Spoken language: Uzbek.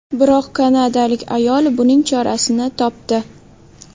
Biroq kanadalik ayol buning chorasini topdi .